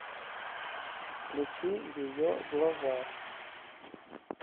включи ее глаза